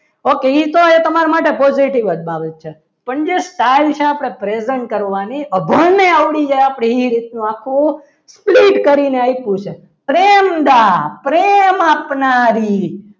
okay એ તો એ તમારા માટે positive જ છે પણ જે present કરવાની અભણને આવડી જાય આપણે એ રીતના આખું sleet કરીને આપ્યું છે પ્રેમ દા પ્રેમ આપનારી